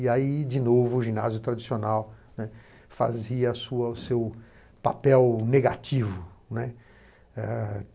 E aí, de novo, o ginásio tradicional, né, fazia o seu papel negativo, né. Ah